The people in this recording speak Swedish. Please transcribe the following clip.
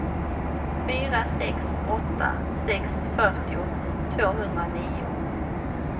fyra sex åtta sex fyrtio tvåhundranio